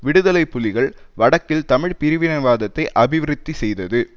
விடுதலை புலிகள் வடக்கில் தமிழ் பிரிவினைவாதத்தை அபிவிருத்தி செய்தது